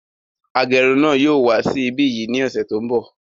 Agẹrun náà yóò wá sí ibí yìí ní ọsẹ tó n bọ